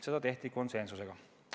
Seda tehti konsensuslikult.